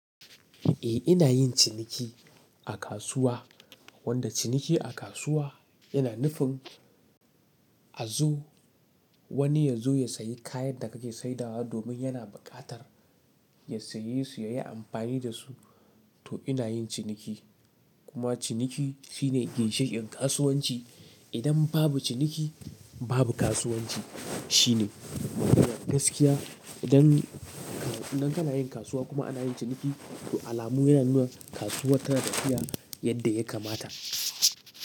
Eh ina yin ciniki a kasuwa, wanda ciniki a kasuwa yana nufin a zo wani ya zo ya sayi kayan da kake saidawa domin yana bukatar ya saye su ya yi amfani da su. To ina yin ciniki kuma ciniki shine ginshiƙin kasuwanci. Idan babu ciniki babu kasuwanci shine gaskiya. Idan kana yin kasuwa kuma ana yin ciniki to alamu yana nuna kasuwa tana tafiya yadda ya kamata.